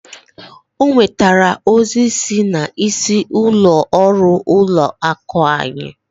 O nwetara ozi si n'isi ụlọ ọrụ ụlọ akụ anyị.